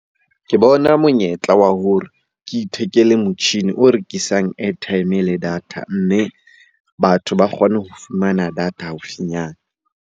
Ke bona monyetla wa hore ke ithekele motjhini o rekisang airtime le data, mme batho ba kgone ho fumana data haufinyana.